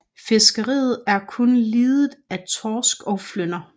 Fiskeriet er kun lidet af torsk og flynder